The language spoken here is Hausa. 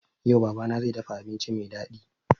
Yau baba na zai dafa abinci mai daɗi